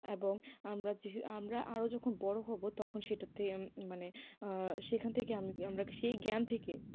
এবং আমরা যে আমরা আরও যখন বড়ো হব তখন সেটাতে মানে সেখান থেকে আমরা সেই জ্ঞান থেকে,